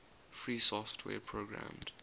free software programmed